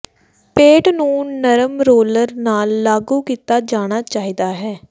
paint ਨੂੰ ਨਰਮ roller ਨਾਲ ਲਾਗੂ ਕੀਤਾ ਜਾਣਾ ਚਾਹੀਦਾ ਹੈ